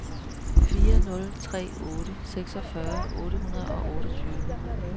fire nul tre otte seksogfyrre otte hundrede og otteogtyve